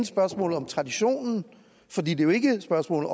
spørgsmål om tradition for det er jo ikke et spørgsmål